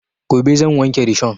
Gobe zan wanke rishon